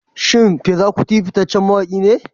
Shin Fela Kuti fitaccen mawaki ne?